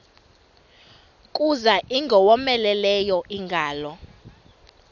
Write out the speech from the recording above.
kuza ingowomeleleyo ingalo